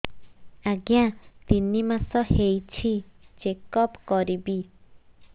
ଆଜ୍ଞା ତିନି ମାସ ହେଇଛି ଚେକ ଅପ କରିବି